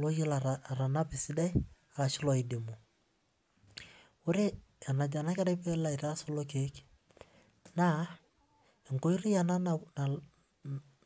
loyiolo atanapa esidai ashu looidumu. Ore enajo ena kerai peelo aitaas kulo kiek naa enkoitoi ena